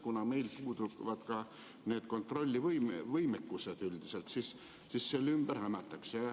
Kuna meil puuduvad ka kontrollivõimekused, siis selle ümber hämatakse.